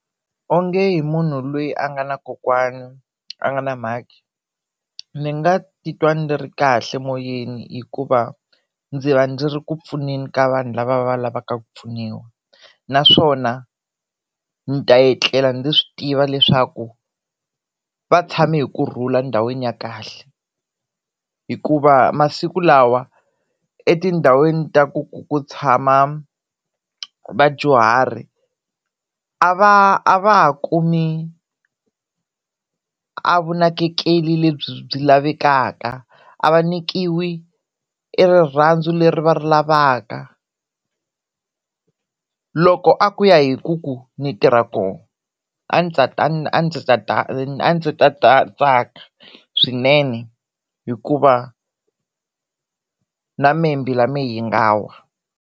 Onge hi munhu loyi a nga na kokwana a nga na mhakhi ni nga titwa ni ri kahle moyeni hikuva ni va ni ri ku pfuneni ka vanhu lava va lavaka ku pfuniwa naswona ni ta etlela ndzi swi tiva leswaku va tshame hi kurhula ndhawini ya kahle hikuva masiku lawa etindhawini ta ku ku ku tshama vadyuhari a va a va ha kumi a vunakekeri lebyi byi lavekaka a va nyikiwi e rirhandzu leri va ri lavaka loko a ku ya hi ku ku ni tirha koho a ndzi ta ta tsaka swinene hikuva na mehe mbilu ya mina yi nga wa.